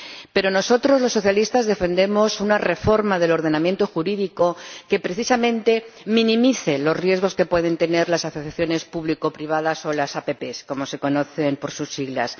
Pero, nosotros, los socialistas, defendemos una reforma del ordenamiento jurídico que precisamente minimice los riesgos que pueden tener las asociaciones público privadas, o las APP, como se conocen por sus siglas.